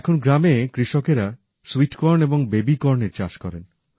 এখন গ্রামে কৃষকেরা সুইট কর্ন এবং বেবি কর্নের চাষ করেন